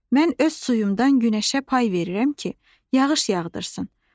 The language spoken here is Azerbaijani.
Mən öz suyumdan günəşə pay verirəm ki, yağış yağdırsın.